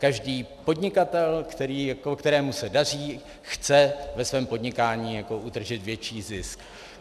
Každý podnikatel, kterému se daří, chce ve svém podnikání udržet větší zisk.